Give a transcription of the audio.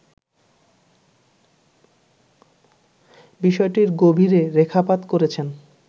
বিষয়টির গভীরে রেখাপাত করেছেন